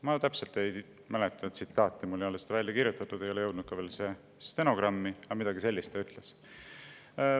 Ma täpselt ei mäleta tsitaati, mul ei ole seda välja kirjutatud, see ei ole veel jõudnud ka stenogrammi, aga midagi sellist ta ütles.